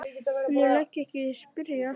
En ég legg ekki í að spyrja.